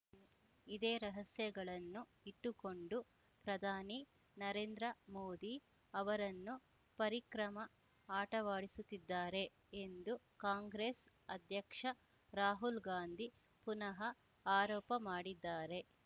ಇದೇ ರಹಸ್ಯಗಳನ್ನು ಇಟ್ಟುಕೊಂಡು ಪ್ರಧಾನಿ ನರೇಂದ್ರ ಮೋದಿ ಅವರನ್ನು ಪರಿಕ್ರಮ ಆಟವಾಡಿಸುತ್ತಿದ್ದಾರೆ ಎಂದು ಕಾಂಗ್ರೆಸ್‌ ಅಧ್ಯಕ್ಷ ರಾಹುಲ್‌ ಗಾಂಧಿ ಪುನಃ ಆರೋಪ ಮಾಡಿದ್ದಾರೆ